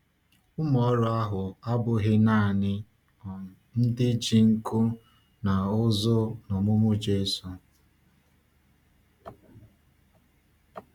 Ụmụ ọrụ ahụ abụghị naanị um ndị ji nku n’ụzụ n’ọmụmụ Jésù.